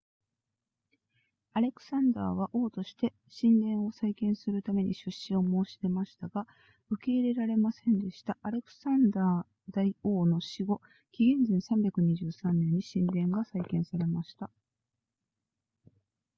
アレクサンダーは王として神殿を再建するために出資を申し出ましたが受け入れられませんでしたアレクサンダー大王の死後紀元前323年に神殿が再建されました